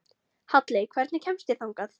Halley, hvernig kemst ég þangað?